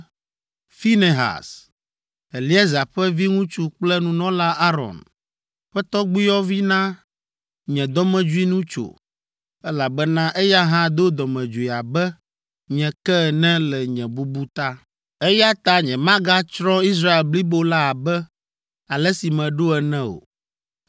“Finehas, Eleazar ƒe viŋutsu kple nunɔla Aron ƒe tɔgbuiyɔvi na nye dɔmedzoe nu tso, elabena eya hã do dɔmedzoe abe nye ke ene le nye bubu ta. Eya ta nyemagatsrɔ̃ Israel blibo la abe ale si meɖo ene o.